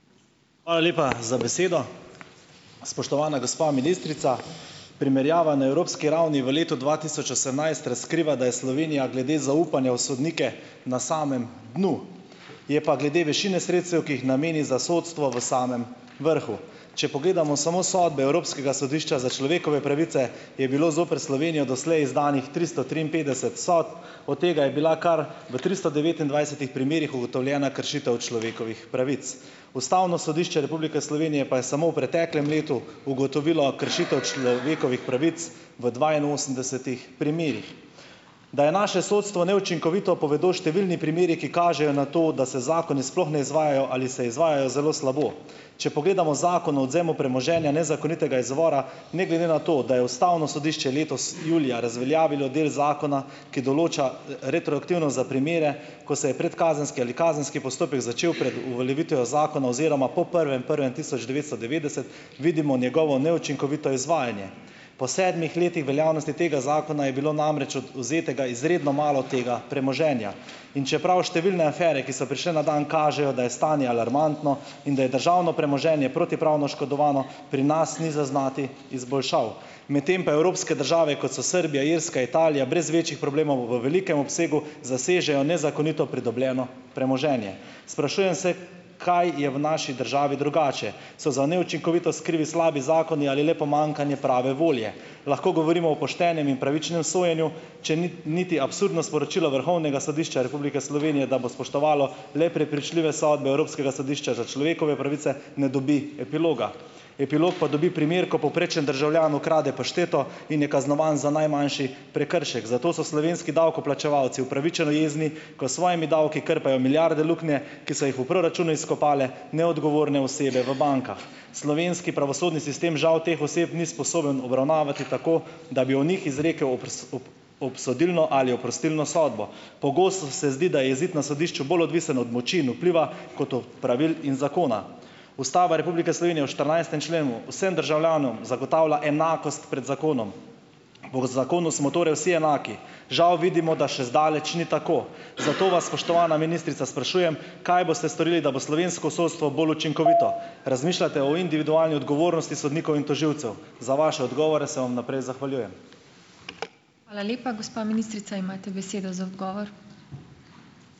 Hvala lepa za besedo. Spoštovana gospa ministrica! Primerjava na evropski ravni v letu dva tisoč osemnajst razkriva, da je Slovenija glede zaupanja v sodnike na samem dnu. Je pa glede višine sredstev, ki jih nameni za sodstvo, v samem vrhu. Če pogledamo samo sodbe Evropskega sodišča za človekove pravice, je bilo zoper Slovenijo doslej izdanih tristo triinpetdeset sodb, od tega je bila kar v tristo devetindvajsetih primerih ugotovljena kršitev človekovih pravic. Ustavno sodišče Republike Slovenije pa je samo v preteklem letu ugotovilo kršitev človekovih pravic v dvainosemdesetih primerih. Da je naše sodstvo neučinkovito, povedo številni primeri, ki kažejo na to, da se zakoni sploh ne izvajajo ali se izvajajo zelo slabo. Če pogledamo Zakon o odvzemu premoženja nezakonitega izvora, ne glede na to, da je ustavno sodišče letos julija razveljavilo del zakona, ki določa retroaktivnost za primere, ko se je predkazenski ali kazenski postopek začel pred uveljavitvijo zakona oziroma po prvem prvem tisoč devetsto devetdeset, vidimo njegovo neučinkovito izvajanje. Po sedmih letih veljavnosti tega zakona je bilo namreč odvzetega izredno malo tega premoženja. In čeprav številne afere, ki so prišle na dan, kažejo, da je stanje alarmantno in da je državno premoženje protipravno oškodovano, pri nas ni zaznati izboljšav. Medtem pa evropske države, kot so Srbija, Irska, Italija, brez večjih problemov v velikem obsegu zasežejo nezakonito pridobljeno premoženje. Sprašujem se, kaj je v naši državi drugače. So za neučinkovitost krivi slabi zakoni ali le pomanjkanje prave volje? Lahko govorimo o poštenem in pravičnem sojenju, če niti niti absurdno sporočilo Vrhovnega sodišča Republike Slovenije, da bo spoštovalo le prepričljive sodbe Evropskega sodišča za človekove pravice, ne dobi epiloga? Epilog pa dobi primer, ko povprečen državljan ukrade pašteto in je kaznovan za najmanjši prekršek. Zato so slovenski davkoplačevalci upravičeno jezni, ko s svojimi davki krpajo milijarde luknje, ki so jih v proračunu izkopale neodgovorne osebe v bankah. Slovenski pravosodni sistem žal teh oseb ni sposoben obravnavati tako, da bi o njih izrekel obsodilno ali oprostilno sodbo. Pogosto se zdi, da je izid na sodišču bolj odvisno od moči in vpliva kot od pravil in zakona. Ustava Republike Slovenije v štirinajstem členu vsem državljanom zagotavlja enakost pred zakonom. Po zakonu smo torej vsi enaki. Žal vidimo, da še zdaleč ni tako. Zato vas, spoštovana ministrica, sprašujem, kaj boste storili, da bo slovensko sodstvo bolj učinkovito? Razmišljate o individualni odgovornosti sodnikov in tožilcev? Za vaše odgovore se vam vnaprej zahvaljujem.